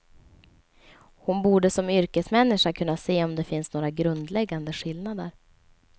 Hon borde som yrkesmänniska kunna se om det finns några grundläggande skillnader.